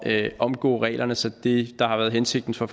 at omgå reglerne sådan at det der har været hensigten fra